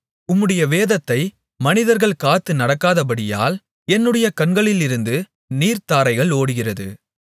உம்முடைய வேதத்தை மனிதர்கள் காத்து நடக்காதபடியால் என்னுடைய கண்களிலிருந்து நீர்த்தாரைகள் ஓடுகிறது